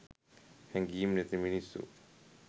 හැඟීම් නැති මිනිස්සු